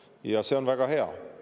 Ja see on väga hea.